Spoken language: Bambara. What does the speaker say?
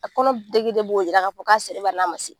A kɔnɔ degere b'o yira k'a fɔ k'a sera ubɛn n'a ma se